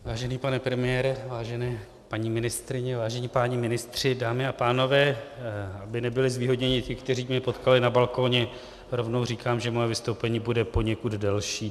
Vážený pane premiére, vážené paní ministryně, vážení páni ministři, dámy a pánové, aby nebyli zvýhodněni ti, kteří mě potkali na balkoně, rovnou říkám, že moje vystoupení bude poněkud delší.